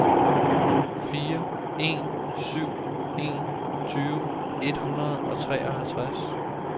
fire en syv en tyve et hundrede og treoghalvtreds